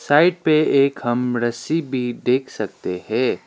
Side पे एक हम रस्सी भी देख सकते है।